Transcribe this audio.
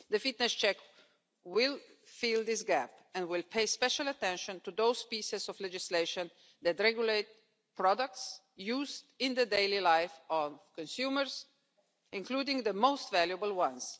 The fitness check will fill this gap and will pay special attention to those pieces of legislation that regulate products used in the daily life of consumers, including the most valuable ones.